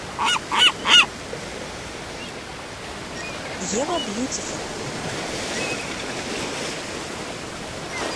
ева бьютифул